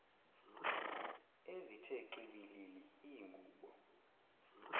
ezithe xibilili iingubo